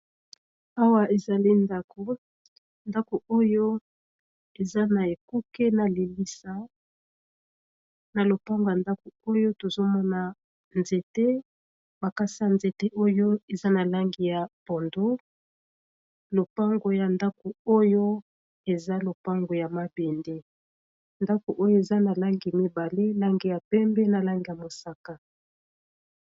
awa ezali ndako ndako oyo eza na ekuke na lilisa na lopango ya ndako oyo tozomona nzete makasi ya nzete oyo eza na langi ya pondu lopango ya ndako oyo eza lopango ya mabende ndako oyo eza na langi mibale langi ya pembe na langi ya mosaka